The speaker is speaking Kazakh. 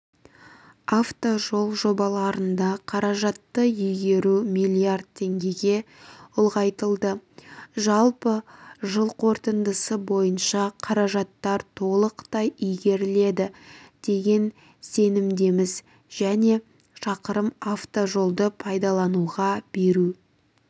автожол жобаларында қаражатты игеру миллиард теңгеге ұлғайтылды жалпы жыл қорытындысы бойынша қаражаттар толықтай игеріледі деген сенімдеміз және шақырым автожолды пайдалануға беру